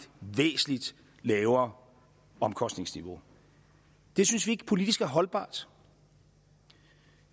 væsentlig lavere omkostningsniveau det synes vi ikke er politisk holdbart